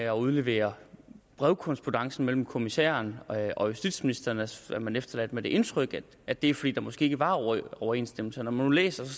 at udlevere brevkorrespondancen mellem kommissæren og justitsministeren så er man efterladt med det indtryk at det er fordi der måske ikke var overensstemmelse når man nu læser